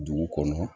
Dugu kɔnɔ